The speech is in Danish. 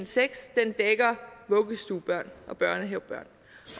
seks dækker vuggestuebørn og børnehavebørn